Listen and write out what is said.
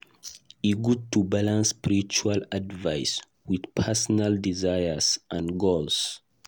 E good to balance spiritual advice with personal desires and goals.